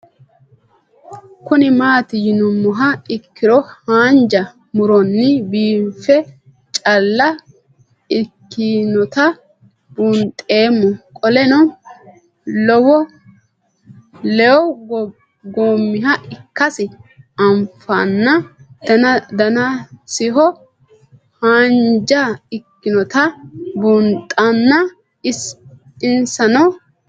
Kuni mati yinumoha ikiro hanja muroni biife caale ikinota buunxemo qoleno lewu goomiha ikasi anfana danasiho hanja ikinotana bunxana insano waajo